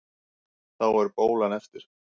Þá er bólan eftir.